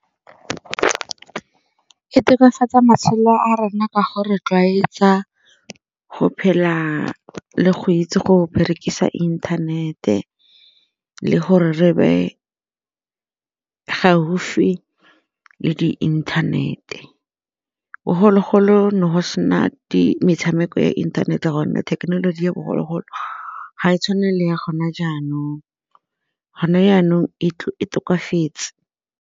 E e tokafatsa matshelo a rona ka gore itlwaetsa go phela le go itse go berekisa inthanete le gore re be gaufi le di-internet-e bogologolo ne go sena metshameko ya inthanete gonne thekenoloji ya bogologolo ga e tshwane le ya gona jaanong gone jaanong e tokafetse.